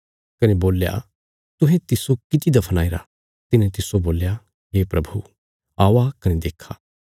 कने बोल्या तुहें तिस्सो किति दफनाईरा तिन्हें तिस्सो बोल्या हे प्रभु औआ कने देक्खा